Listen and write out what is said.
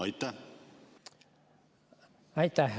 Aitäh!